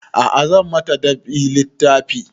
A'a zan ma ta dab'i littafi